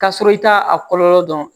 K'a sɔrɔ i t'a a kɔlɔlɔ dɔn